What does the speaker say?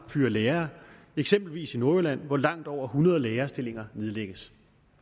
at fyre lærere eksempelvis i nordjylland hvor langt over hundrede lærerstillinger nedlægges